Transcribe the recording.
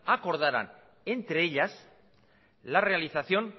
acordaran entre ellas la realización